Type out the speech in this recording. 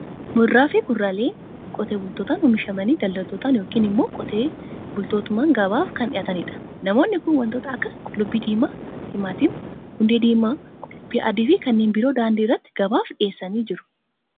Muduraa fi kuduraaleen qotee bultootaan oomishamanii, daldaltootaan yookiin immoo qotee bultootumaan gabaaf kan dhiyaatanidha. Namoonni kun wantoota akka qullubbii diimaa, timaatimii, hundee diimaa, qullubbii adii fi kannen biroo daandii irratti gabaaf dhiyeessanii jiru.